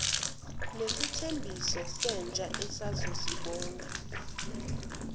nesithembiso sentsha esizobonga